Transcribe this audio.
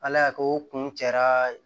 Ala y'a kɛ o kun cɛra